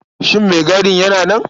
Shin maigadin yana nan?